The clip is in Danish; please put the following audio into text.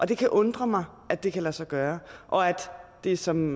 det kan undre mig at det kan lade sig gøre og at det som